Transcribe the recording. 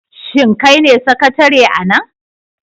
Shin kai ne sakatare a nan?